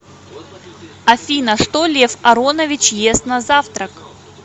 афина что лев аронович ест на завтрак